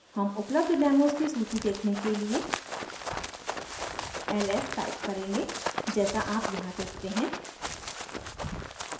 हम उपलब्ध डेमोज़ की सूची देखने के लिए ls टाइप करेंगे जैसा आप यहाँ देखते हैं